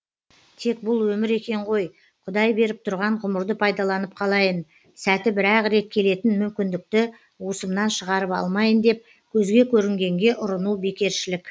тек бұл өмір екен ғой құдай беріп тұрған ғұмырды пайдаланып қалайын сәті бір ақ рет келетін мүмкіндікті уысымнан шығарып алмайын деп көзге көрінгенге ұрыну бекершілік